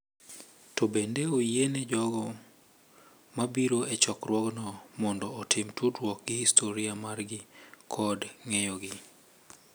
To bende oyiene jogo ma biro e chokruogno mondo otim tudruok gi historia margi kod ng’eyogi